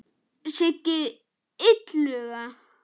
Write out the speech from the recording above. Siggi Illuga og fleiri.